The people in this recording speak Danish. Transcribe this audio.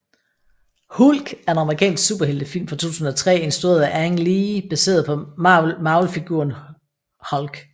Hulk er en amerikansk superheltefilm fra 2003 instrueret af Ang Lee baseret på Marvelfiguren Hulk